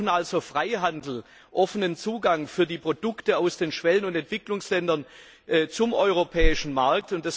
Wir brauchen also Freihandel, offenen Zugang für die Produkte aus den Schwellen und Entwicklungsländern zum europäischen Markt.